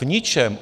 V ničem.